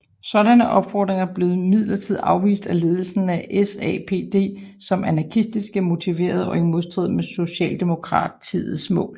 Sådanne opfordringer blev imidlertid afvist af ledelsen af SAPD som anarkistisk motiverede og i modstrid med socialdemokratiets mål